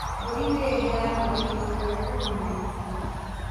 Mbũri nĩ ĩheanaga iria rĩa ũguni mũingĩ.